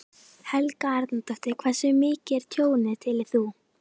Helga Arnardóttir: Hversu mikið er tjónið, telur þú?